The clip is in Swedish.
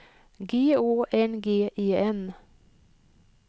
G Å N G E N